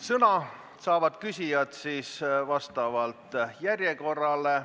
Sõna saavad küsijad järjekorra alusel.